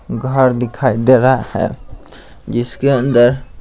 घर दिखाई दे रहा है जिसके अंदर--